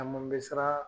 Caman bɛ siran